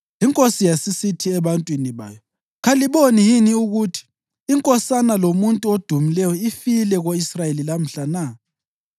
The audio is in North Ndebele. Inkosi yasisithi ebantwini bayo, “Kaliboni yini ukuthi inkosana lomuntu odumileyo ifile ko-Israyeli lamhla na?